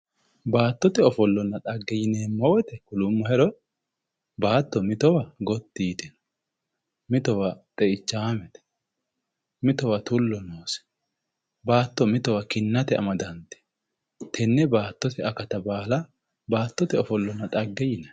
baattote ofollonna dhagge yinanni woyte kulummohero baatto mitowa goti yitewo mitowa xeichaamete mitowa tullo noose baatto mitowa kinnate amaddantewo tenne baattote akatta baala baattote ofollona dhagge yinay